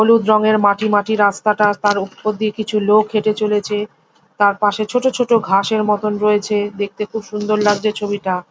হলুদ রঙের মাটি মাটি রাস্তাটা তার উপর দিয়ে কিছু লোক হেটে চলেছে। তার পশে ছোট ছোট ঘাস এর মতো রয়েছে। দেখতে খুব সুন্দর লাগছে ছবিটা।